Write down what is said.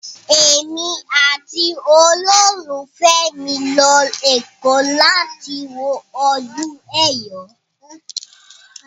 Èmi àti olólùfẹ́ mi ń lọ Èkó láti wo ọdún Ẹ̀yọ̀.